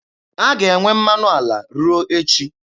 A ga-enwe mmanụ ala ruo echi.